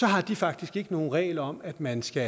har de faktisk ikke nogen regler om at man skal